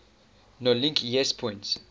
nolink yes point